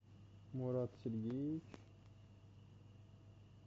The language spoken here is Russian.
мурат сергеевич